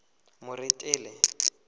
moretele